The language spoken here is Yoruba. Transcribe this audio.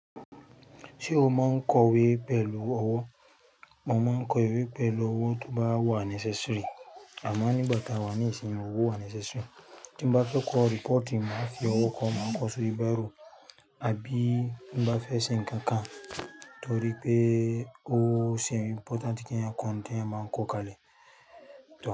Ṣé o máa ń kọ ìwé pẹ̀lú ọwọ? Mo máa ń kọ ìwé pẹ̀lú ọwọ́ tó bá wà necessary. Àmọ́ nígbà tí a wà ní ìsìnyi owó wà necessary. Tí bá fẹ́ kọ reporti, màá fi ọwọ́ kọ, màá kọ sórí baro. Àbí tí mo bá fẹ́ ṣe nǹkan kan torí pé ó ṣe important kí ẹyàn kọ ńté ẹeyan máa ń kọ kalẹ̀.